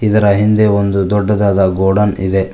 ಇದರ ಹಿಂದೆ ಒಂದು ದೊಡ್ಡದಾದ ಗೋಡೌನ್ ಇದೆ.